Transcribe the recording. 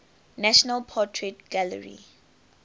national portrait gallery